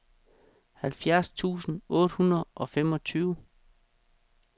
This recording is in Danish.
halvfjerds tusind otte hundrede og femogtyve